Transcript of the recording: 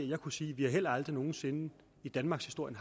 jeg kunne sige at vi heller aldrig nogen sinde i danmarkshistorien